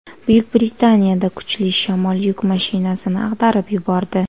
Buyuk Britaniyada kuchli shamol yuk mashinasini ag‘darib yubordi .